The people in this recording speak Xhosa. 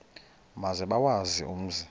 maze bawazi umzi